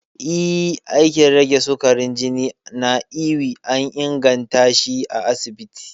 Ee, aikin rage sukarin jini na ewe an ingantashi a asibiti